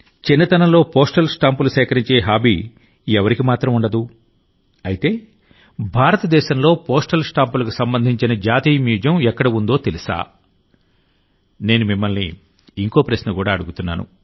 చిన్నతనంలో టపాసులు సేకరించే హాబీ ఎవరికి మాత్రం ఉండదు అయితేభారతదేశంలో పోస్టల్ స్టాంపులకు సంబంధించిన జాతీయ మ్యూజియం ఎక్కడ ఉందో తెలుసా నేను మిమ్మల్ని ఇంకొక ప్రశ్న అడుగుతున్నాను